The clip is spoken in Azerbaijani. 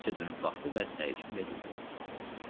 Lutasiya dönüb baxdı və təəccüblə dedi: